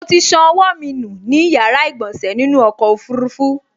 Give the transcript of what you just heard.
Mo ti ṣan ọwọ́ mi nù ní yàrá ìgbọ̀sẹ̀ nínú ọkọ̀ ọfurufú